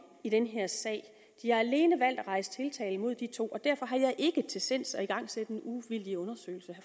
i den her sag de har alene valgt at rejse tiltale mod de to og derfor har jeg ikke til sinds at igangsætte en uvildig undersøgelse